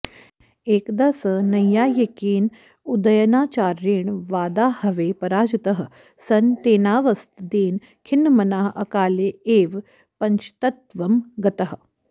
एकदा स नैयायिकेन उदयनाचार्येण वादाहवे पराजितः सन् तेनावस्तदेन खिन्नमनाः अकाले एव पञ्चत्वं गतः